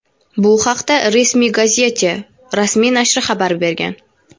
Bu haqda "Resmi Gazyetye" rasmiy nashri xabar bergan.